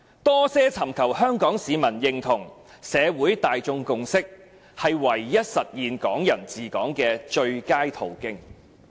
多些尋求香港市民認同、社會大眾共識，是唯一實現'港人治港'的最佳途徑。